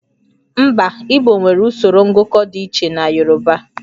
Mba, Igbo nwere usoro ngụkọ dị iche na Yorùbá